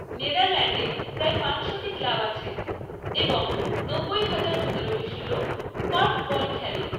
নেদারল্যান্ডে প্রায় পাঁচশোটি ক্লাব আছে এবং নব্বই হাজার জনেরও বেশি লোক কর্ফবল খেলে।